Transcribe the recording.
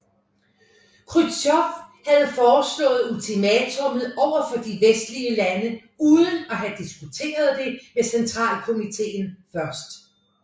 Khrusjtjov havde foreslået ultimatummet overfor de vestlige lande uden at have diskuteret det med Centralkomittéen først